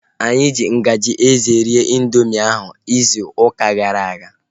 Anyị ji ngaji eze rie ịndoomị ahu izu ụka gara aga